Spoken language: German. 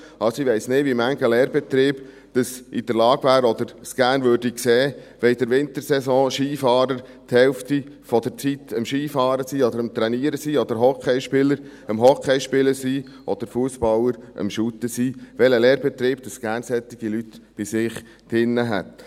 Also, ich weiss nicht, wie viele Lehrbetriebe in der Lage wären oder es gerne sehen würden, wenn in der Wintersaison ein Skifahrer während der Hälfte der Zeit am Skifahren oder am Trainieren ist, oder Hockeyspieler am Hockey spielen sind, oder Fussballer am Fussball spielen sind, welcher Lehrbetrieb, gerne solche Leute bei sich hätte.